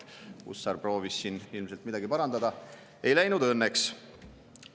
Hussar proovis ilmselt midagi parandada, aga ei läinud õnneks.